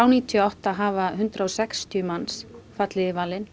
níutíu og átta hafa hundrað og sextíu manns fallið í valinn